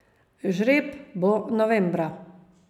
Žreb bo novembra.